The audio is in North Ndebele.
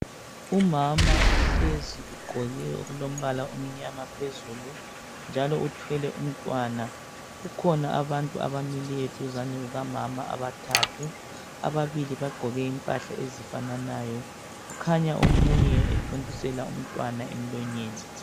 Umama uhlezi ugqoke okulombala omnyama phezulu njalo uthwele umntwana. Kukhona abantu abamileyo duzane kukamama abathathu, ababili bagqoke impahla ezifananayo. Kukhanya omunye ethontisela umntwana emlonyeni.